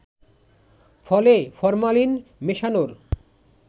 ফলে ফরমালিন মেশানোর